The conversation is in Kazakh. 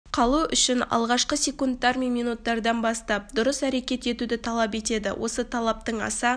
қалу үшін алғашқы секундтар мен минуттардан бастап дұрыс әрекет етуді талап етеді осы талаптың аса